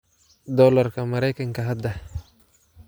Doolarka Maraykanka hadda